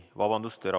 Vabandust!